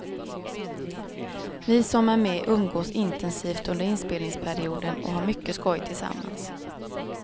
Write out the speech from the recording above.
Vi som är med umgås intensivt under inspelningsperioden och har mycket skoj tillsammans.